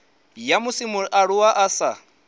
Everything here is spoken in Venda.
ya musi mualuwa a sa